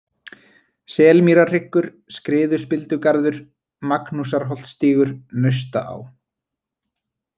Selmýrarhryggur, Skriðuspildugarður, Magnúsarholtsstígur, Naustaá